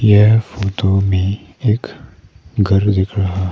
यह फोटो में एक घर दिख रहा है।